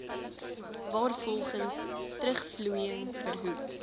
waarvolgens terugvloeiing verhoed